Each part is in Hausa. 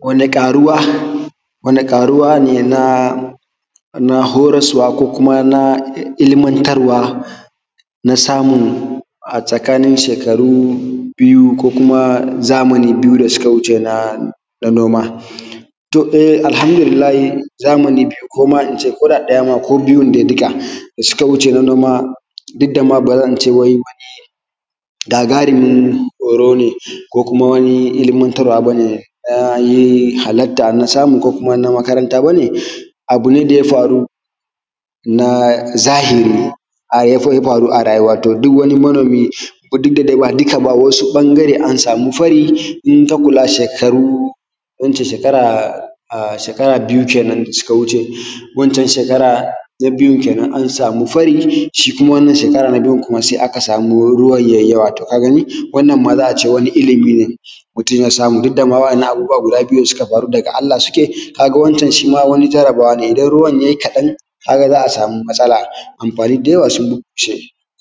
Wani ƙaruwa, wani ƙaruwa ne na horaswa ko kuma na ilmantarwa na samu a tsakanin shukaru biyu ko zamani biyu da suka wuce na noma. To, AlhanduLillahi zamani biyu ko da ɗaya ko biyu ne duka da suka wuce na noma duka ma ba zan ce wai wani gagaruwin hore ne ko kuma wani ilimantarwa ba ne na halarta na samu. Ko kuma na makaranta ba ne, abu ne da ya faru na zahiri ya faru a rayuwa to duk wani manomi duk da dai ba duka ba wasu ɓangare an samu fari in ka kula shekaru ko in ce shekara, shekara biyu kenen da ta wuce wancan shekara ta biyun kenen an samu fari shi kuma wannan shekaran kuma se aka samu ruwan ya yi yawa. Ka gani wannan ma za a ce wani ilimi ne mutum ya samu duk dama waɗannan abubbuwa guda biyu da suka faru daga Allah suke ka ga wancan ma shi ma wani jarabawa ne, idan ruwan ya yi kaɗan ka ga za a sami matsala, amfani da yawa sun bushe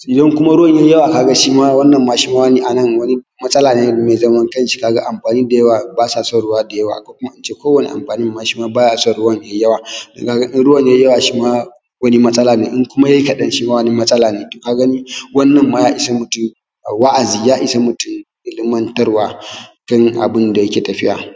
idan kuma ruwan ya yi yawa ka ga shi ma a nan wani matsala ne me zaman kan shi, ka ga amfani da yawa ba sa son ruwa da yawa ko in ce ko wani amfanin ma baya son ruwan da ya yi yawa; ka ga in ruwan ya yi yawa ka ga shi ma wani matsala n.e To, in ya yi kaɗan shi ma wani matsala ne ka gani wannan ma ya ishe mutum wa’azi, ya ishe mutum ilimantarwa tun da abun da yake tafiya.